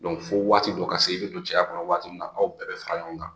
fo waati dɔ ka se, i bi don cɛya kɔnɔ waati min na, aw bɛɛ bɛ fara ɲɔgɔn kan